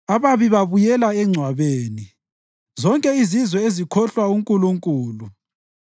Ababi babuyela engcwabeni, zonke izizwe ezikhohlwa uNkulunkulu.